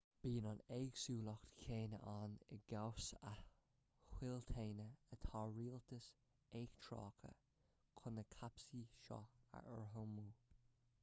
bíonn an éagsúlacht chéanna ann i gcás a thoilteanaí atá rialtais eachtracha chun na cáipéisí seo a urramú